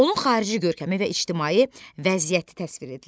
Onun xarici görkəmi və ictimai vəziyyəti təsvir edilir.